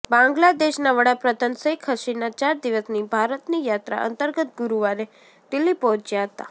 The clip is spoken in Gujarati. બાંગ્લાદેશના વડાપ્રધાન શેખ હસીના ચાર દિવસની ભારતની યાત્રા અંતર્ગત ગુરુવારે દિલ્હી પહોંચ્યા હતા